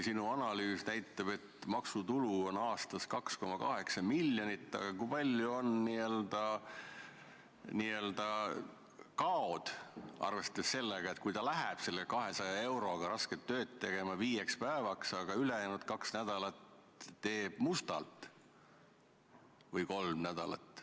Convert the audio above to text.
Ja sinu analüüs küll näitab, et maksutulu on aastas 2,8 miljonit, aga kui suured on n-ö kaod, kui arvestada sellega, et ta läheb selle 200 euro eest rasket tööd tegema viieks päevaks, aga ülejäänud kaks või kolm nädalat teeb midagi mustalt?